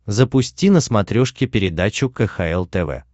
запусти на смотрешке передачу кхл тв